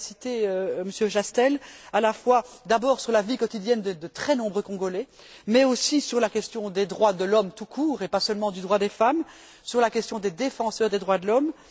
Vous l'avez cité, Monsieur Chastel, à la fois d'abord sur la vie quotidienne de très nombreux Congolais, mais aussi sur la question des droits de l'homme tout court et pas seulement du droit des femmes, sur la question des défenseurs des droits de l'homme.